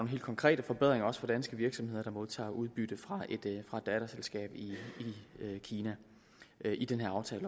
helt konkrete forbedringer for danske virksomheder der modtager udbytte fra et datterselskab i kina i den her aftale